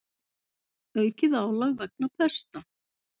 Aukið álag vegna pesta